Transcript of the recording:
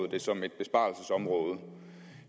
det som et besparelsesområde